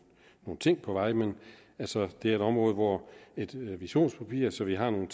ting på vej men altså det er et område hvor et visionspapir så vi har nogle